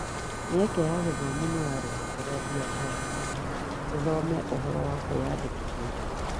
Mĩeke ya gĩthomo nĩ ya rũhonge rwa biashara ithome ũhoro wa kũĩyandĩkithia